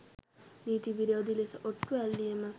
නීති විරෝධී ලෙස ඔට්ටු ඇල්ලීම